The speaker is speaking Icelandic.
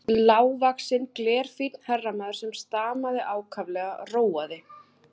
Lágvaxinn, glerfínn herramaður, sem stamaði ákaflega, róaði